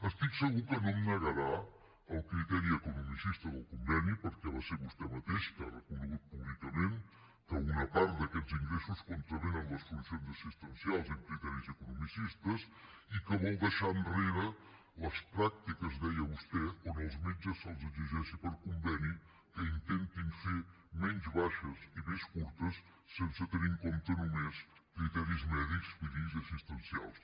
estic segur que no em negarà el criteri economicista del conveni perquè va ser vostè mateix que ha reconegut públicament que una part d’aquests ingressos contravenen les funcions assistencials amb criteris economicistes i que vol deixar enrere les pràctiques ho deia vostè on als metges se’ls exigeixi per conveni que intentin fer menys baixes i més curtes sense tenir en compte només criteris mèdics clínics i assistencials